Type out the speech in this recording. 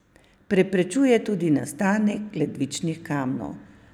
Preprečuje tudi nastanek ledvičnih kamnov.